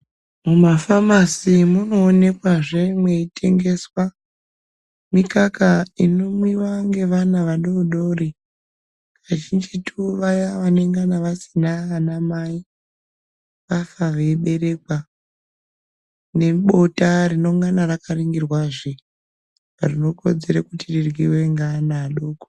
Mumafamasi munoonekwa mweitengeswa mikaka inomwiwa ngevana vadoodori kazjinjitu vaya vanenge vasina anamai vafa veiberekwa nebota rinenge rakaongororwazve rinokodzera kuti tiryiwe ngeana adoko.